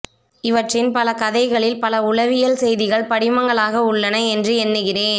இவற்றின் பல கதைகளில் பல உளவியல் செய்திகள் படிமங்களாக உள்ளன என்று எண்ணுகிறேன்